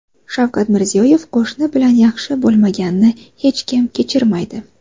Shavkat Mirziyoyev: Qo‘shni bilan yaxshi bo‘lmaganni hech kim kechirmaydi.